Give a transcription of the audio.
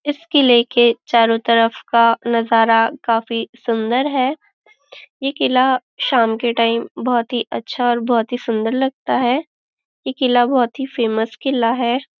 इस किले के चारों तरफ का नजारा काफी सुंदर है ये किला शाम के टाइम बहुत ही अच्छा और बहुत ही सुंदर लगता है ये किला बहुत ही फेमस किला है।